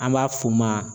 An b'a f'o ma